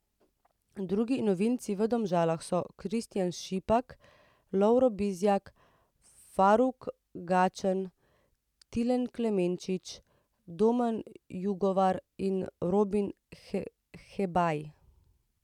Drudi novinci v Domžalah so Kristijan Šipak, Lovro Bizjak, Faruk Gačan, Tilen Klemenčič, Domen Jugovar in Rubin Hebaj.